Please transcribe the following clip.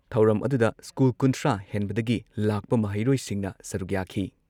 ꯊꯧꯔꯝ ꯑꯗꯨꯗ ꯁ꯭ꯀꯨꯜ ꯀꯨꯟꯊ꯭ꯔꯥ ꯍꯦꯟꯕꯗꯒꯤ ꯂꯥꯛꯄ ꯃꯍꯩꯔꯣꯏꯁꯤꯡꯅ ꯁꯔꯨꯛ ꯌꯥꯈꯤ ꯫